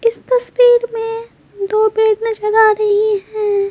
इस तस्वीर में दो पेड़ नजर आ रही है।